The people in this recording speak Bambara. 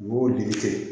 N b'o le kɛ